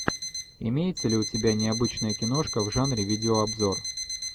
имеется ли у тебя необычная киношка в жанре видеообзор